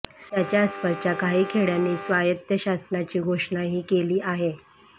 त्याच्या आसपासच्या काही खेडय़ांनी स्वायत्त शासनाची घोषणाही केली आहे